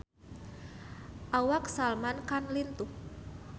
Awak Salman Khan lintuh